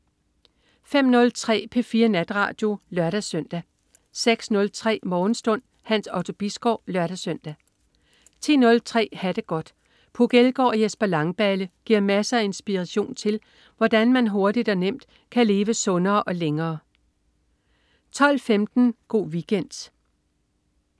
05.03 P4 Natradio (lør-søn) 06.03 Morgenstund. Hans Otto Bisgaard (lør-søn) 10.03 Ha' det godt. Puk Elgård og Jesper Langballe giver masser af inspiration til, hvordan man hurtigt og nemt kan leve sundere og længere 12.15 Go' Weekend